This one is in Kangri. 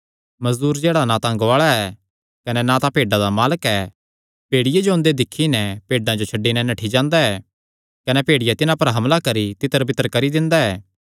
मजदूर जेह्ड़ा ना तां गुआल़ा ऐ कने ना तां भेड्डां दा मालक ऐ भेड़िये जो ओंदे दिक्खी नैं भेड्डां जो छड्डी नैं नठ्ठी जांदा ऐ कने भेड़िया तिन्हां पर हमला करी तितरबितर करी दिंदा ऐ